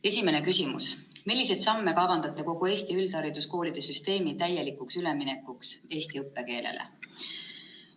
Esimene küsimus: "Milliseid samme kavandate kogu Eesti üldhariduskoolide süsteemi täielikuks üleminekuks eesti õppekeelele?